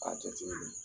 A jateminɛ